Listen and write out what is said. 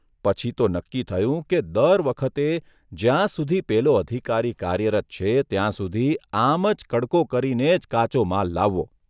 પછી તો નક્કી થયું કે દર વખતે જ્યાં સુધી પેલો અધિકારી કાર્યરત છે ત્યાં સુદી આમ જ કડકો કરીને જ કાચો માલ લાવવો.